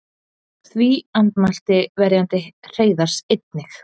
Því andmælti verjandi Hreiðars einnig.